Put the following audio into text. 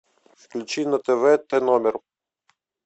включи на тв т номер